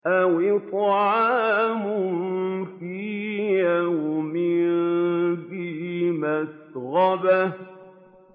أَوْ إِطْعَامٌ فِي يَوْمٍ ذِي مَسْغَبَةٍ